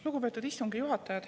Lugupeetud istungi juhataja!